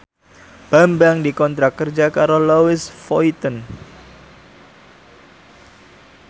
Bambang dikontrak kerja karo Louis Vuitton